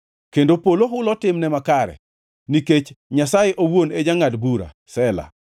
Kendo polo hulo timne makare, nikech Nyasaye owuon e jangʼad bura. Sela